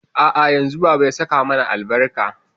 A'a yanzun baba ya saka mana albarka.